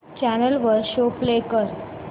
channel वर show play कर